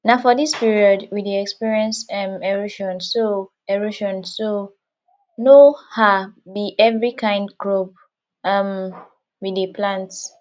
na for dis period we dey experience um erosion so erosion so no um be every kyn crop um we dey plant